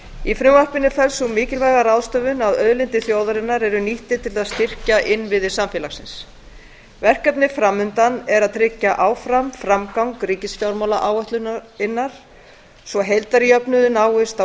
í frumvarpinu felst sú mikilvæga ráðstöfun að auðlindir þjóðarinnar eru nýttar til þess að styrkja innviði samfélagsins verkefnið fram undan er að tryggja áfram framgang ríkisfjármálaáætlunar svo heildarjöfnuður náist á